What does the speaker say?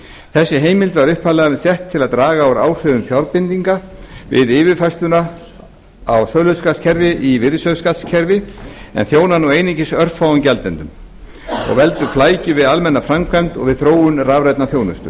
þessi heimild var upphaflega sett til að draga úr áhrifum fjárbindinga við yfirfærsluna á söluskattskerfi í virðisaukaskattskerfi en þjónar nú einungis örfáum gjaldendum og veldur flækjum við almenna framkvæmd og við þróun rafrænnar þjónustu